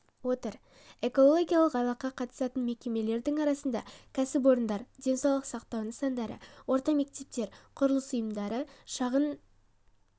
отыр экологиялық айлыққа қатысатын мекемелердің арасында кәсіпорындар денсаулық сақтау нысандары орта мектептер құрылыс ұйымдары шағын